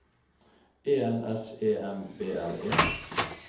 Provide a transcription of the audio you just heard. E N S E M B L E